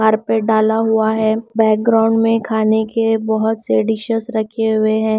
Carpet डाला हुआ है बैकग्राउंड में खाने के बहुत से डिशेस रखे हुए हैं।